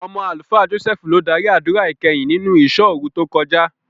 Ọmọ Àlùfáà Jọ́sẹ́ẹ́fù ló dárí àdúrà ìkẹyìn nínú ìṣọ́òru tó kọjá.